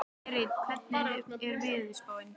Berit, hvernig er veðurspáin?